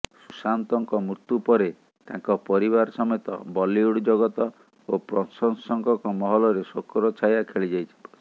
ସୁଶାନ୍ତଙ୍କ ମୃତ୍ୟୁ ପରେ ତାଙ୍କ ପରିବାର ସମେତ ବଲିଉଡ୍ ଜଗତ ଓ ପ୍ରଶଂସକଙ୍କ ମହଲରେ ଶୋକର ଛାୟା ଖେଳିଯାଇଛି